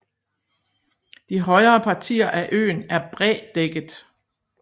De højere partier af øen er brædækket